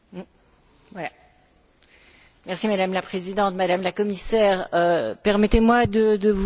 Madame la Présidente, Madame la Commissaire, permettez moi de vous féliciter pour votre engagement.